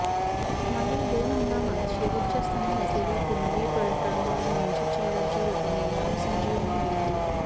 मागील दोन हंगामात शेवटच्या स्थानी असलेल्या पुणेरी पलटनला मनजीत चिल्लरच्या रूपाने नवसंजीवनी मिळाली